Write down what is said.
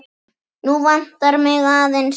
Nú vantar mig aðeins eitt!